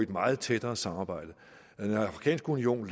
meget tættere samarbejde den afrikanske union